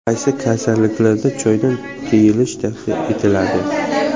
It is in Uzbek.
Qaysi kasalliklarda choydan tiyilish tavsiya etiladi?.